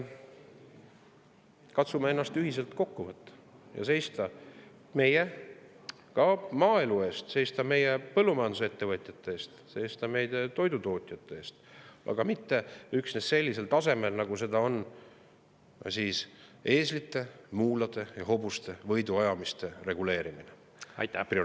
Katsume ennast ühiselt kokku võtta ja seista meie maaelu eest, seista meie põllumajandusettevõtjate eest, seista meie toidutootjate eest, ja mitte üksnes sellisel tasemel, nagu seda on eeslite, muulade ja hobuste võiduajamiste reguleerimise prioriteediks seadmine.